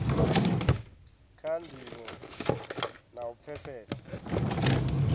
kha ndivho na u pfesesa